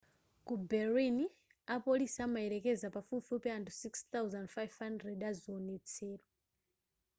ku berlin apolisi amayelekeza pafupifupi anthu 6,500 aziwonetsero